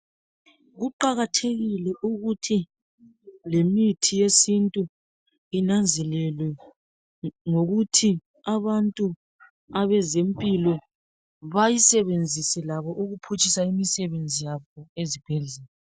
Kuqakathekile ukuthi lemithi yesintu inanzelelwe ngokuthi abantu abezempilo bayisebenzise labo ukuphutshisa imisebenzi yabo ezibhedlela.